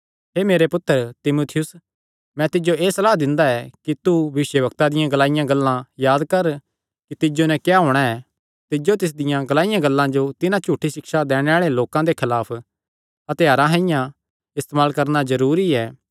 हे मेरे पुत्तर तीमुथियुस मैं तिज्जो एह़ सलाह दिंदा ऐ कि तू भविष्यवक्ता दियां ग्लाईयां गल्लां याद कर कि तिज्जो नैं क्या होणा ऐ तिज्जो तिसदियां ग्लाईयां गल्लां जो तिन्हां झूठी सिक्षा दैणे आल़े लोकां दे खलाफ हत्थयारां साइआं इस्तेमाल करणा जरूरी ऐ